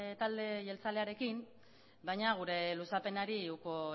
talde jeltzalearekin baina gure luzapenari uko